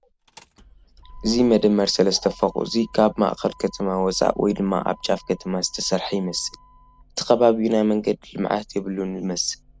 እዚ መደመር ሰለስተ ፎቕ እዙይ ካብ ማእኸል ከተማ ወፃእ ወይ ድማ ኣብ ጫፍ ከተማ ዝተሰርሓ ይመስል እቲ ኸባቢኡ ናይ መንገዲ ልምዓት የብሉን ዝመስል ።